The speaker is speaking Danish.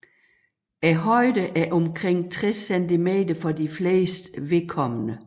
Højden er omkring 60 cm for de flestes vedkommende